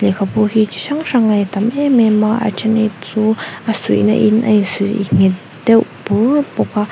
khabu hi chi hrang hrang ei a tam em em a a then hi chu a suihna in a in suih nghet deuh bur bawk a.